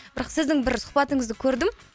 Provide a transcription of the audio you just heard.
бірақ сіздің бір сұхбатыңызды көрдім